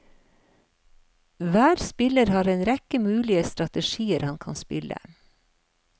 Hver spiller har en rekke mulige strategier han kan spille.